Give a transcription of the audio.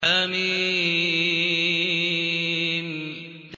حم